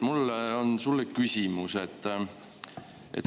Mul on sulle küsimus.